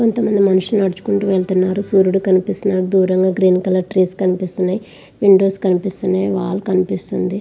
కొంతమంది మనుషులు నడుచుకుంటూ వెళ్తున్నారు.సూర్యుడు కనిపిస్తున్నాడు.దూరం లో గ్రీన్ కలర్ చెట్లు కనిపిస్తున్నాయి. విండోస్ కనిపిస్తున్నాయి. వాల్ కనిపిస్తుంది.